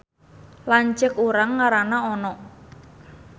Lanceuk urang ngaranna Ono